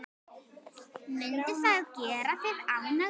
Mundi það gera þig ánægða?